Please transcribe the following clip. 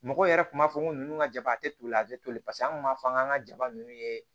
Mɔgɔw yɛrɛ kun b'a fɔ ko nunnu ka jaba a teri a tɛ toli paseke an kun b'a fɔ k'an ka jaba ninnu ye